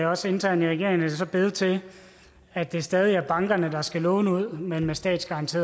også internt i regeringen er det så blevet til at det stadig er bankerne der skal låne ud men med statsgaranti